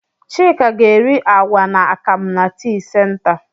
Chika ga-eri àgwà na akam na tii senta.